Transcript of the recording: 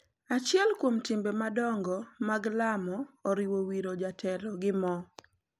Achiel kuom timbe madongo mag lamo oriwo wiro jatelo gi mo,